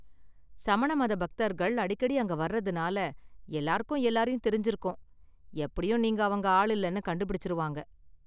சமண மத பக்தர்கள் அடிக்கடி அங்க வர்றதுனால, எல்லாருக்கும் எல்லாரையும் தெரிஞ்சுருக்கும், எப்படியும் நீங்க அவங்க ஆள் இல்லனு கண்டுபிடிச்சிருவாங்க.